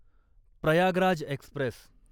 Prayagraj Express